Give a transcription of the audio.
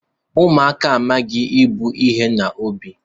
Ụmụaka amaghị ebu iwe n'obi